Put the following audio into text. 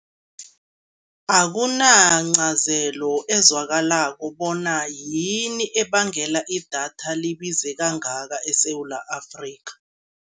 Akunancazelo ezwakalako bona yini ebangela idatha libize kangaka eSewula Afrika.